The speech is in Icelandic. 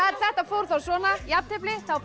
þetta fór þá svona jafntefli þá fá